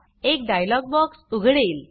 एक dialog box उघडेल